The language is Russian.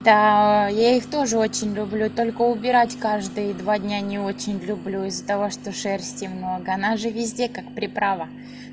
та я их тоже очень люблю только убирать каждые два дня не очень люблю из-за того что шерсти много она же везде как приправа